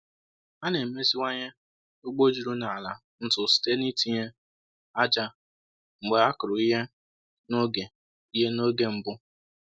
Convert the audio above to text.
“A na-emeziwanye ugbo juru na ala ntu site n’itinye ájá mgbe e kụrụ ihe n’oge ihe n’oge mbụ.”